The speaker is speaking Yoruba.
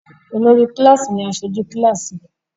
Olórí kíláásì ní aṣojú kíláásì rẹ̀.